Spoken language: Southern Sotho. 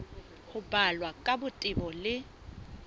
ho balwa ka botebo le